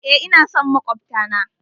Eh, ina son makwabta na.